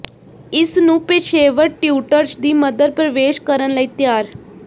ਇਸ ਨੂੰ ਪੇਸ਼ੇਵਰ ਟਿਉਟਰਜ਼ ਦੀ ਮਦਦ ਪ੍ਰਵੇਸ਼ ਕਰਨ ਲਈ ਤਿਆਰ